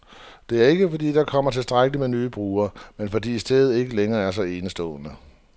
Det er ikke, fordi der ikke kommer tilstrækkeligt med nye brugere, men fordi stedet ikke længere er så enestående.